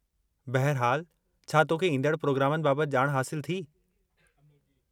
बहिरहालु, छा तोखे ईंदड़ परोग्रामनि बाबत ॼाण हासिलु थी?